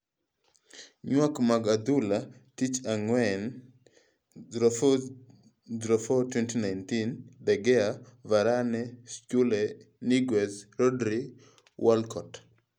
Ywak mag adhula, Tich Ang'wen 04.04.2019: De Gea, Varane, Schurrle, Niguez, Rodri, Walcott